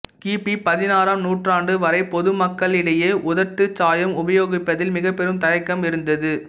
கி பி பதினாறாம் நூற்றாண்டு வரை பொதுமக்களிடையே உதட்டுச் சாயம் உபயோகிப்பதில் மிகப்பெரும் தயக்கம் இருந்தது